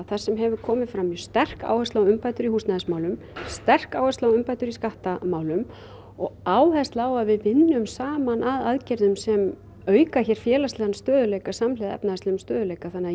þar sem hefur komið fram mjög sterk áhersla á umbætur í húsnæðismálum sterk áhersla á umbætur í skattamálum og áhersla á að við vinnum hér saman að aðgerðum sem auka hér félagslegan stöðugleika samhliða efnahagslegum stöðugleika þannig að